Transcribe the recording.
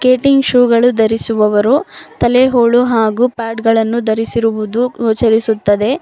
Skating shoe ಗಳು ಧರಿಸುವವರು ತಲೆ ಹೋಳು ಹಾಗು ಪ್ಯಾಡ್ ಗಳನ್ನು ಧರಿಸಿರುವುದು ಗೋಚರಿಸುತ್ತದೆ.